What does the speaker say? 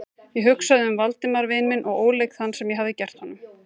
Ég hugsaði um Valdimar vin minn og óleik þann, sem ég hafði gert honum.